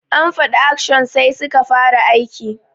An fada action sai suka fara aiki.